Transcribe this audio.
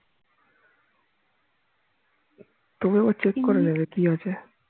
তবু একবার check করে নেবে কি আছে